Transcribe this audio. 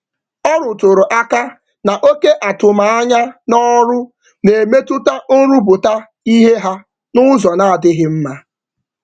Ọ rụtụrụ aka na oké atụm ányá n'ọrụ n'emetụta nrụpụta ìhè ha nụzọ n'adịghị mma